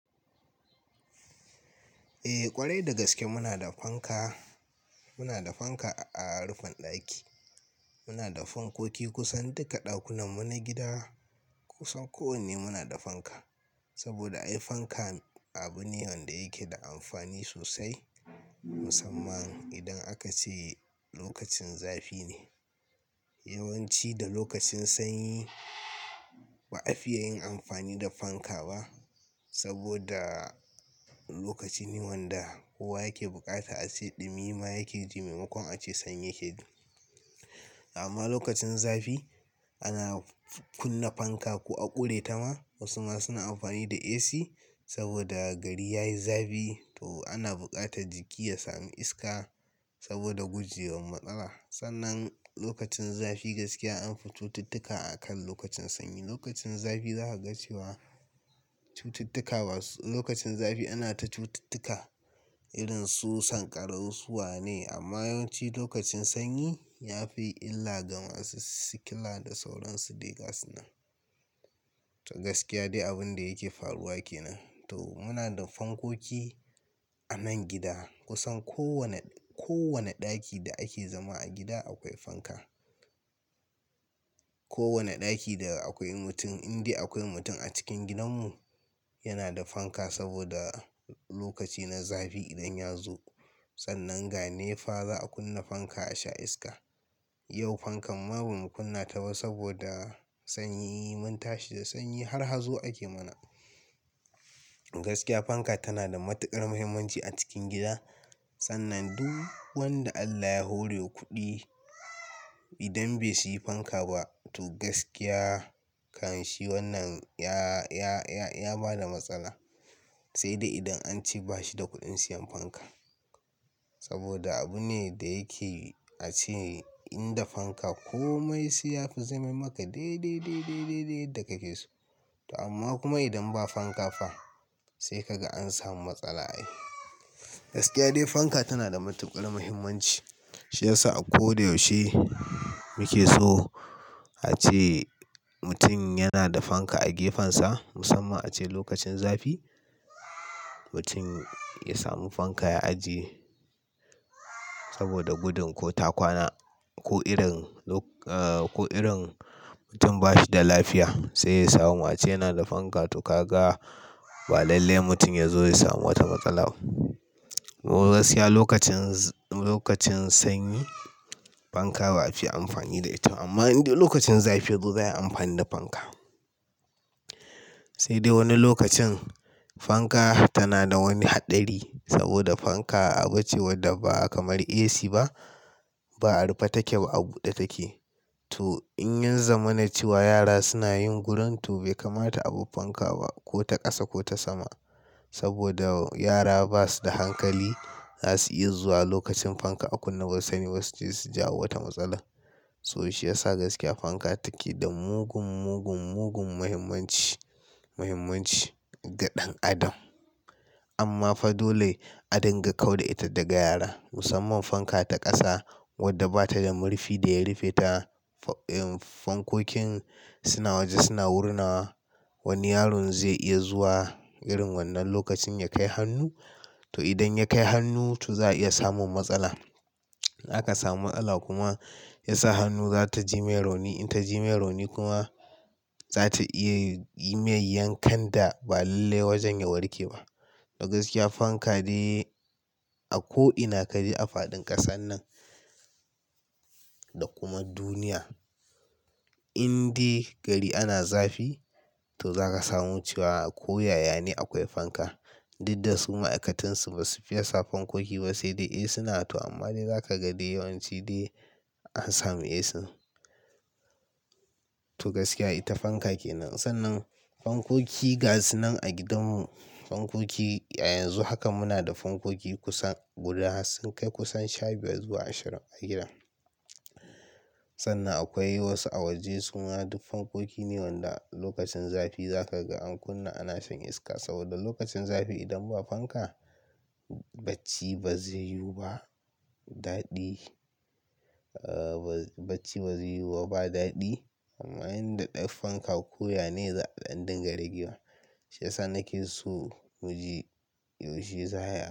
Eh ƙwarai da gaske muna da fanka, muna da fanka a rufin ɗaki. Muna da fankoki kusan duka ɗakunan mu na gida. Kusan kowanne muna da fanka. Saboda ai fanka abune wanda yake da amfani sosai musamman idan aka ce lokacin zafi ne. Yawanci da lokacin sanyi ba a fiye yin amfani da fanka ba saboda lokaci ne wanda kowa yake buƙata ace ɗumi ma yake jimamu kon a ce sanyi yakejii amma lokacin zafi ana kunna fanka ko a ƙure ta ma. Wasu ma suna amfani da AC saboda gari yayi zafi to ana buƙatar jiki ya sami iska saboda gujewan matsala. Sannan lokacin zafi gaskiya an fi cututtuka akan lokacin sanyi. Lokacin zafi za ka ga cewa cututtuka, lokacin zafi ana ta cututtuka irin su sankarau suwa ne amma yawanci lokacin sanyi ya fi illa ga masu sikila da sauran su gas nan. To gaskiya dai abun da yake faruwa ke nan. To muna da fankoki a nan gida kusan ko wane, ko wane ɗaki da ake zama a gida akwai fanka. Ko wane ɗaki da akwai mutum, inda akwai mutum a cikin gidanmu yana da fanka saboda lokaci na zafi idan ya zo. Sannan ga ne fa za a kunna fanka a sha iska. Yau fankan ma bamu kunna ta ba saboda sanyi mun tashi da sanyi har hazo ake mana. Gaskiya fanka tana da matuƙar muhimmanci a cikin gida. Sannan duk wanda Allah ya hore kuɗi idan bai siyi fanka ba to gaskiya kanshi wannan ya, ya, ya, ya bada matsala. Sai dai idan an ce bashi da kuɗin siyan fanka. Saboda abu ne da yake a ce in da fanka komai siya fi jimamu ka dai dai dai dai dai yadda kake so. Amma kuma idan ba fanka ba sai ka ga an samu matsala. Ai Gaskiya dai fanka tana da matuƙar muhimmanci. Shi yasa a ko da yaushe mu ke so a ce mutum yana da fanka a gefensa musamman ace lokacin zafi. Mutum ya sami fanka ya ajiye saboda gudun ko ta kwana ko irin, ko irin mutum ba shi da lafiya sai ya samu. Ace yana da fanka to ka ga ba lallai mutum ya zo ya samu wata matsala ba. To gaskiya lokacin, lokacin sanyi fanka ba a fiye amfani da ita. Amma inda lokacin zafi yazo zai yi amfani da fanka. Sai dai wani lokacin fanka tana da wani haɗari saboda fanka abu ce wadda ba kamar AC ba. Ba a rufe take ba, a buɗe take. To in yin zama na cewa yara suna yin gurun to bai kamata a bar fanka ba ko ta ƙasa ko ta sama. Saboda yara ba su da hankali za su iya zuwa lokacin fanka a kunna wasanni wasu sai su jawo wata matsala. To shi ya sa gaskiya fanka take da mugun, mugun, mugun muhimmanci, muhimmanci ga ɗan adam. Amma fa dole a dinga kau da ita daga yara musamman fanka ta ƙasa wadda ba ta da murfi da ya rufe ta. Fankokin suna waje suna wurinawa wani yaron zai iya zuwa irin wannan lokacin ya kai hannu. To idan ya kai hannu to za a iya samun matsala. Za ka samu matsala kuma ya sa hannun za ta ji mai rauni. In ta ji mai rauni kuma za ta iya yi mai yankan da ba lallai wajen ya warke ba. Da gaskiya fanka dai a ko ina ka je a faɗin ƙasar nan da kuma duniya inda gari ana zafi to za ka samu cewa ko yaya ne akwai fanka. Duk da su ma'aikatansu ba su fiye sa fankoki ba sai dai eh suna ta amma dai za ka ga dai yawanci dai an sami AC. To gaskiya ita fanka ke nan. Sannan fankoki gas nan a gidanmu fankoki yanzu haka muna da fankoki kusan guda sun kai kusan sha biyar zuwa ashirin a gida. Sannan akwai wasu a waje suna duk fankoki ne wanda lokacin zafi za ka ga an kunna ana shan iska saboda lokacin zafi idan ba fanka bacci ba zai yiwu ba. Daɗi, bacci ba zai yiwu ba, ba daɗi. Amma inda ɗai fanka ko yane za a danda ragewa Shi ya sa nake so mu ji yaushe za a yi.